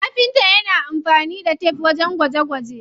Kafinta yana amfani da tef wajen gwaje gwaje.